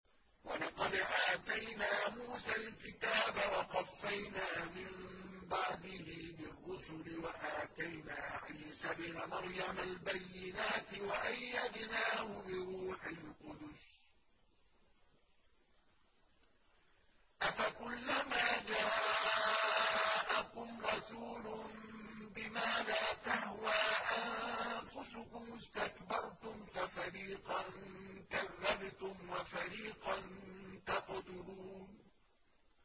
وَلَقَدْ آتَيْنَا مُوسَى الْكِتَابَ وَقَفَّيْنَا مِن بَعْدِهِ بِالرُّسُلِ ۖ وَآتَيْنَا عِيسَى ابْنَ مَرْيَمَ الْبَيِّنَاتِ وَأَيَّدْنَاهُ بِرُوحِ الْقُدُسِ ۗ أَفَكُلَّمَا جَاءَكُمْ رَسُولٌ بِمَا لَا تَهْوَىٰ أَنفُسُكُمُ اسْتَكْبَرْتُمْ فَفَرِيقًا كَذَّبْتُمْ وَفَرِيقًا تَقْتُلُونَ